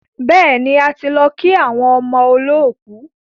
Bẹ́ẹ̀ni, a ti lọ kí àwọn ọmọ olọ́kù.